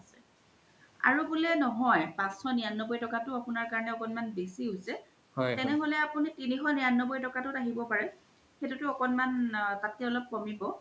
আৰু বুলে নহয় পাঁচশ নিৰান্নবৈ তকাতো আপুনাৰ কৰোনে আকনমান বেচি হৈছে তেনেহলে আপুনি তিনিশ নিৰান্নবৈ তকাতো আহিব পাৰে সেইতো আকনমান তাত্কে অলপ কমিব